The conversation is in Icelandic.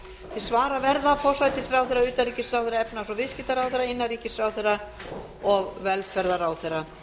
til svara verða forsætisráðherra utanríkisráðherra efnahags og viðskiptaráðherra innanríkisráðherra og velferðarráðherra